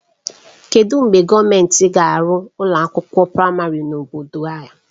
Kedụ mgbe gọọmentị ga-arụ ụlọ akwụkwọ praịmarị n'obodo a?